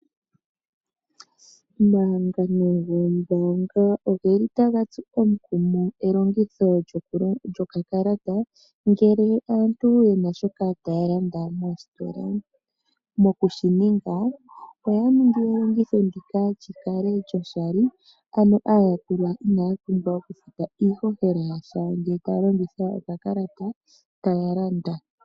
Omahangano goombaanga oge li taga tsu omukumo elongitho lyokakalata ngele aantu yevna shoka taa landa noositola, mokushinga oya ningi elongitho ndika lyikale lyoshali, ano aayakulwa inaapumbwa okufuta iihohela yasha ngele taa longitha okakalata taya landa.